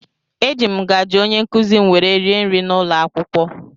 Eji m ngazi ónyé nkụzi m wee rie nri n'ụlọakwụkwọ.